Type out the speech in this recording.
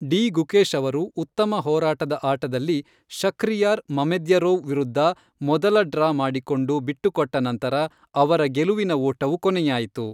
D Gukesh ಅವರು ಉತ್ತಮ ಹೋರಾಟದ ಆಟದಲ್ಲಿ ಶಖ್ರಿಯಾರ್ ಮಮೆದ್ಯರೋವ್ ವಿರುದ್ಧ ಮೊದಲ ಡ್ರಾ ಮಾಡಿಕೊಂಡು ಬಿಟ್ಟುಕೊಟ್ಟ ನಂತರ ಅವರ ಗೆಲುವಿನ ಓಟವು ಕೊನೆಯಾಯಿತು.